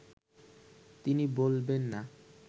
তিনি বলবেন না